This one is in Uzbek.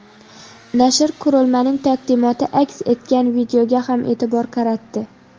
Nashr qurilmaning taqdimoti aks etgan videoga ham e’tibor qaratdi.